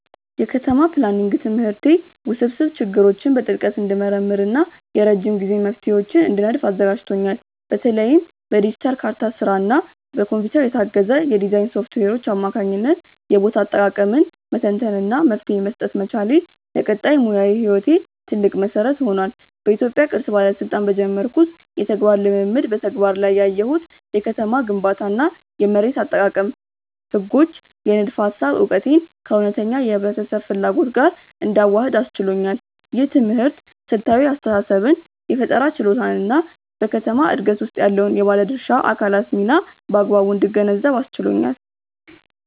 የከተማ ፕላኒንግ ትምህርቴ ውስብስብ ችግሮችን በጥልቀት እንድመረምር እና የረጅም ጊዜ መፍትሄዎችን እንድነድፍ አዘጋጅቶኛል። በተለይም በዲጂታል ካርታ ስራ እና በኮምፒውተር የታገዘ የዲዛይን ሶፍትዌሮች አማካኝነት የቦታ አጠቃቀምን መተንተን እና መፍትሄ መስጠት መቻሌ፣ ለቀጣይ ሙያዊ ህይወቴ ትልቅ መሰረት ሆኗል። በኢትዮጵያ ቅርስ ባለስልጣን በጀመርኩት የተግባር ልምምድ በተግባር ላይ ያየሁት የከተማ ግንባታ እና የመሬት አጠቃቀም ህጎች የንድፈ ሃሳብ እውቀቴን ከእውነተኛ የህብረተሰብ ፍላጎት ጋር እንዳዋህድ አስችሎኛል። ይህ ትምህርት ስልታዊ አስተሳሰብን የፈጠራ ችሎታን እና በከተማ ዕድገት ውስጥ ያለውን የባለድርሻ አካላት ሚና በአግባቡ እንድገነዘብ አስችሎኛል።